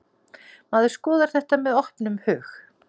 Maður skoðar þetta með opnum hug.